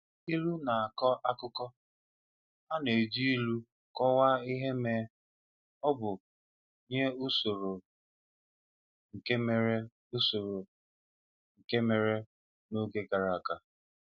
Ilu na-akọ akụkọ: A na-eji ilu kọwaa ihe ma ọ bụ nye usoro nke mere usoro nke mere n’oge gara aga.